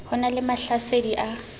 ho na le mahlasedi a